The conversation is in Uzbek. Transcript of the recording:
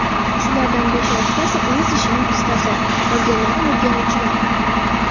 Shulardan besh-oltitasi o‘z ishining ustasi, qolganlari o‘rganuvchilar.